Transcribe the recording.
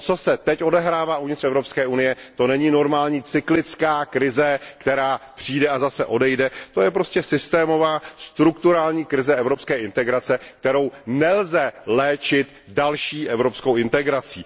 To, co se teď odehrává uvnitř Evropské unie, to není normální cyklická krize, která přijde a zase odejde, to je prostě systémová strukturální krize evropské integrace, kterou nelze léčit další evropskou integrací.